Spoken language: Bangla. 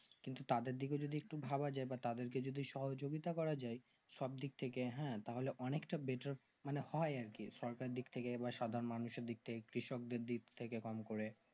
কিন্তু তাদের দিলে একটু যদি ভাবা যাই বা তাদের কে যদি সহযোগিতা করা যাই সব দিক থেকে হ্যাঁ তাহলে অনেক তা better মানে হয় আর কি সরকার দিকথেকে বা সাধারণ মানুষের দিক থেকে কৃষক দেড় দিকথেকে কম করে